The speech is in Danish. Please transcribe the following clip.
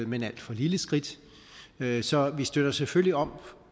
men alt for lille skridt så vi støtter selvfølgelig op